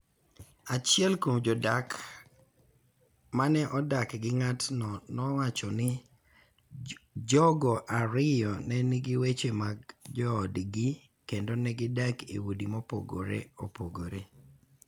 Achiel kuom jodak ma ne odak gi ng�atno nowacho ni jogo ariyo ne nigi weche mag joodgi kendo ne gidak e udi mopogore opogore.